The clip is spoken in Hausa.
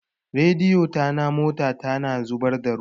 Radiyeto na mota ta na zubadda ruwa